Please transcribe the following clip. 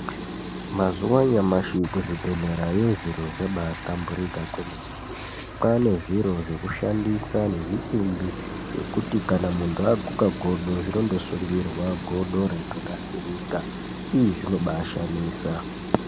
Mazuwa anyamashi kuzvibhedhlerayo zviro zvabaahlamburika kwemene kwane zviro zvekushandisa nezvisimbi zvekuti kana muntu aguke godo zvinondosungirwa godo reitonasirika iiii zvinobai shamisa.